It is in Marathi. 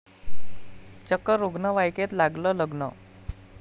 चक्क रुग्णवाहिकेत लागलं लग्न!